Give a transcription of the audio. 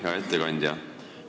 Hea ettekandja!